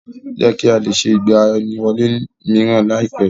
Ó yẹ kí á lè ṣe ìgbaniwọlé mìíràn ní àìpé.